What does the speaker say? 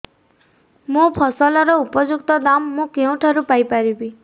ମୋ ଫସଲର ଉପଯୁକ୍ତ ଦାମ୍ ମୁଁ କେଉଁଠାରୁ ପାଇ ପାରିବି